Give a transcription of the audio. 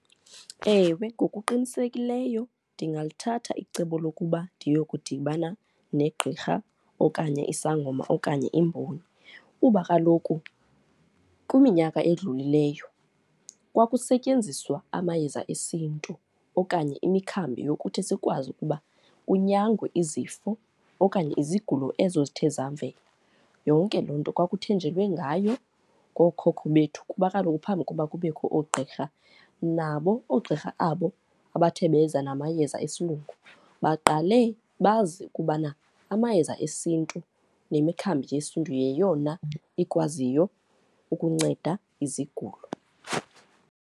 Ewe, ngokuqinisekileyo ndingalithatha icebo lokuba ndiye wokudibana negqirha okanye isangoma okanye imboni. Kuba kaloku kwiminyaka edlulileyo kwakusetyenziswa amayeza esiNtu okanye imikhambi yokuthi sikwazi ukuba kunyangwe izifo okanye izigulo ezo zithe zavela. Yonke loo nto kwakuthenjelwe ngayo ngookhokho bethu kuba kaloku phambi kokuba kubekho oogqirha, nabo oogqirha abo abathe beza namayeza esilungu baqale bazi ukubana amayeza esiNtu nemikhambi yesiNtu yeyona ikwaziyo ukunceda izigulo.